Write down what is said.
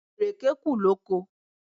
Ìrèké kù lóko.